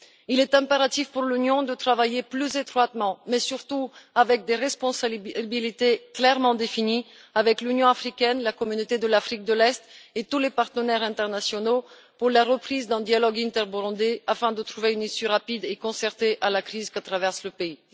Il est impératif que l'Union œuvre plus étroitement mais surtout avec des responsabilités clairement définies avec l'Union africaine, la Communauté de l'Afrique de l'Est et tous les partenaires internationaux à la reprise d'un dialogue inter-burundais afin de trouver une issue rapide et concertée à la crise que traverse le pays.